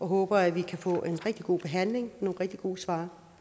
håber at vi kan få en rigtig god behandling og nogle rigtig gode svar